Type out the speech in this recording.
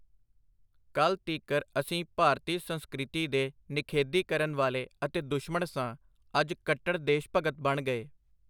ਕੱਲ੍ਹ ਤੀਕਰ ਅਸੀਂ ਭਾਰਤੀ ਸੰਸਕ੍ਰਿਤੀ ਦੇ ਨਿਖੇਧੀ ਕਰਨ ਵਾਲੇ ਅਤੇ ਦੁਸ਼ਮਣ ਸਾਂ, ਅਜ ਕੱਟੜ ਦੇਸ਼-ਭਗਤ ਬਣ ਗਏ.